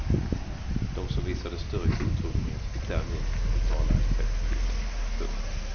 De som visade större godtrogenhet fick däremot betala ett högt pris. punkt